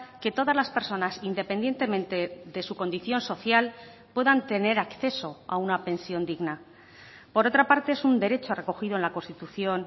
que todas las personas independientemente de su condición social puedan tener acceso a una pensión digna por otra parte es un derecho recogido en la constitución